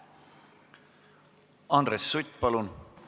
Andres Sutt, palun!